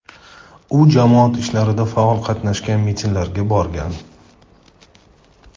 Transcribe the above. U jamoat ishlarida faol qatnashgan, mitinglarga borgan.